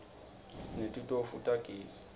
sinetitofu tagezi